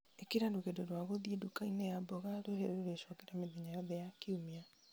ĩkĩra rũgendo rwa gũthiĩ nduka-inĩ ya mbogo rũrĩa rũrecokera mĩthenya yothe ya kiumia